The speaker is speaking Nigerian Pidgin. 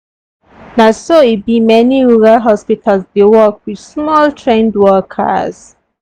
na so e be many rural hospitals dey work with small trained workers.